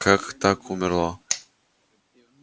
как так умерла